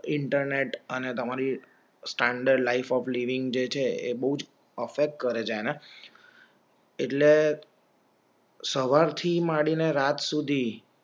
internet અને તમારી standard of living જે છે એ બોવ જ અફફેક્ટ કરેં છે એ ને એટલે સવારથી માંડીને રાત સુધી